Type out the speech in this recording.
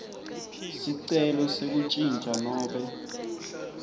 sicelo sekuntjintja nobe